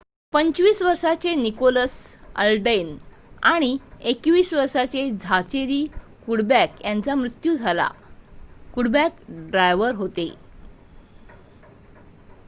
25 वर्षाचे Nicholas Alden आणि 21 वर्षाचे झाचेरी कुडबॅक यांचा मृत्यू झाला कुडबॅक ड्रायव्हर होते